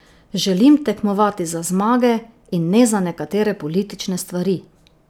Želim tekmovati za zmage in ne za nekatere politične stvari.